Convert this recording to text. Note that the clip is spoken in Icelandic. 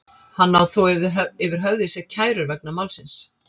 Hann á þó yfir höfði sér kærur vegna málsins.